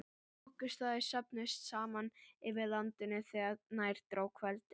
Þokuslæður söfnuðust saman yfir landinu þegar nær dró kvöldi.